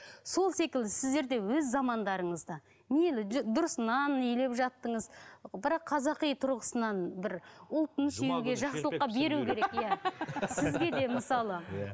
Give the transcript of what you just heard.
сол секілді сіздер де өз замандарыңызда дұрыс нан илеп жаттыңыз бірақ қазақи тұрғысынан бір ұлтын сүюге сізге де мысалы иә